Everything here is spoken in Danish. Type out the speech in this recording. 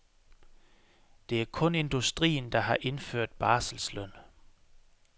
Det er kun industrien, der har indført barselsløn.